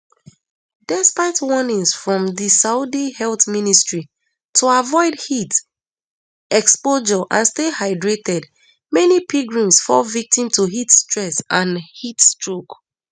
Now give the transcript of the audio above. despite warnings from di saudi health ministry to avoid heat exposure and stay hydrated many pilgrims fall victim to heat stress and heatstroke